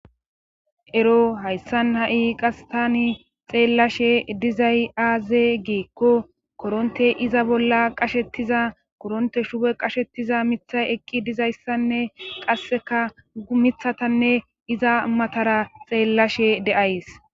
Ero hayssan ha7i qas tani xeellashe dizay aaze giikko koronte iza bolla qashettiza koronte shube qashettiza mithay eqqi dizayssanne qasseka gumithatanne iza matara xeellashe de7ays.